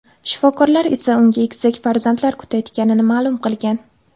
Shifokorlar esa unga egizak farzandlar kutayotganini ma’lum qilgan.